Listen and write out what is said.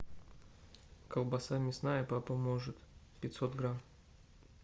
колбаса мясная папа может пятьсот грамм